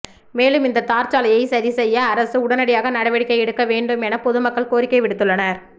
மேலும் இந்த தார்சாலையை சரிசெய்ய அரசு உடனடியாக நடவடிக்கை எடுக்க வேண்டும் என பொதுமக்கள் கோரிக்கை விடுத்துள்ளனர்